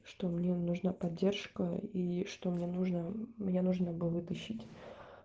что мне нужна поддержка и что мне нужно мне нужно бы вытащить